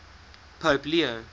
pope leo